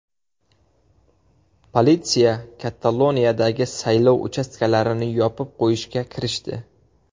Politsiya Kataloniyadagi saylov uchastkalarini yopib qo‘yishga kirishdi.